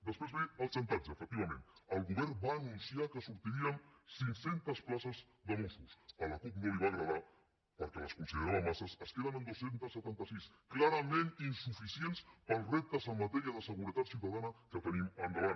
després ve el xantatge efectivament el govern va anunciar que sortirien cinc centes places de mossos a la cup no li va agradar perquè les considerava massa es queden en dos cents i setanta sis clarament insuficients per als reptes en matèria de seguretat ciutadana que tenim endavant